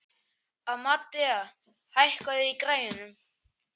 Amadea, hækkaðu í græjunum.